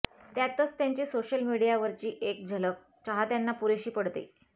त्यातच त्यांची सोशल मीडियावरची एक झलक चाहत्यांना पुरेशी पडते